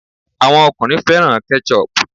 Àwọn ọkùnrin o fẹ́ràn Ketchup